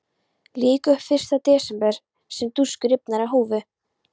Lýk upp fyrsta desember svo dúskur rifnar af húfu.